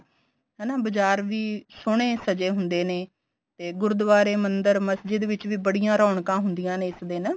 ਹਨਾ ਬਜਾਰ ਵੀ ਸੋਹਣੇ ਸਜੇ ਹੁੰਦੇ ਨੇ ਤੇ ਗੁਰਦੁਆਰੇ ਮੰਦੀਰ ਮਸਜੀਦ ਵਿੱਚ ਵੀ ਬੜੀਆਂ ਰੋਣਕਾ ਹੁੰਦੀਆਂ ਨੇ ਇਸ ਦਿਨ